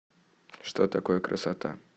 что такое красота